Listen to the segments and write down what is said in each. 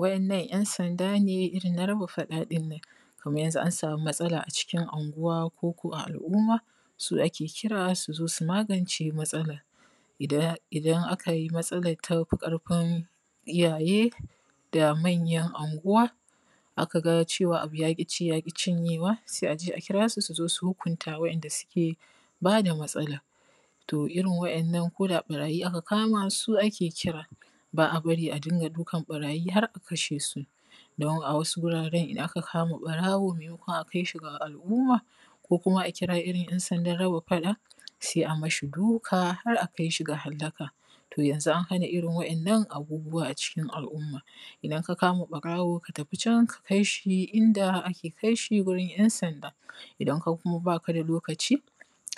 Wa`yannan `yansanda ne irin na raba faɗa din nan. Kamar yanzu in an samu matsala a cikin Anguwa ko ko a al’umma, su ake kira su zo su magance matsalar. Idan aka yi matsalar ta fi ƙarfin iyaye da manyan anguwa, aka ga cewa abu ya ƙi ci ya ƙi cinyewa, sai a je a kira su, su zo su hukunta wa'yanda suke ba da matsalar. To, irin wa'yannan ko da ɓarayi aka kama, su ake kira. Ba a bari a dinga dukan ɓarayi har a kashe su. Don a wasu wuraren in aka kama ɓarawo, maimakon a kai shi ga al'umma, ko kuma a kira irin `yansandan raba faɗa, sai a mashi duka har a kai shi ga hallaka. To yanzu an hana irin wa'yannan abubuwa a cikin al'umma. Idan ka kama ɓarawo ka tafi can ka kai shi inda ake kai shi gurin `yansanda. Idan kuma ba ka da lokaci,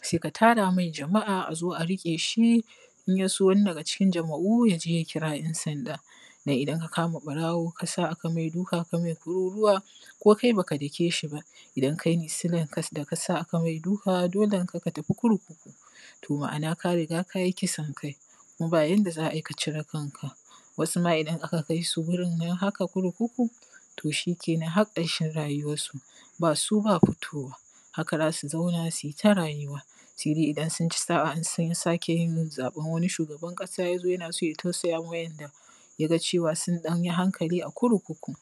sai ka tara mai jama'a a zo a riƙe shi, in ya so wani daga cikin jama'u ya je ya kira `yansanda, Don idan ka kama ɓarawo ka sa aka mai duka ka mai tururuwa, ko kai ba ka dake shi ba, idan kai ne silar da ka sa aka mai duka, dolenka ka tafi kurkuku. To, ma'ana, ka riga ka yi kisan kai, kuma ba yanda za a yi ka cire kanka. Wasu ma idan aka kai su wurin nan haka kurkuku, to shi ke nan har ƙarshen rayuwansu, ba su ba fitowa, haka za su zauna su yi ta rayuwa, sai dai idan sun ci sa'a, in sun sake yin zaɓen wani shugaban ƙasa ya zo yana son ya tausaya ma wa'yanda ya ga cewa sun ɗan yi hankali a kurkuku.